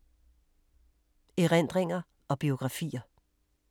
Erindringer og biografier